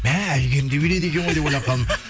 мә әйгерім де билейді екен ғой деп ойлап қалдым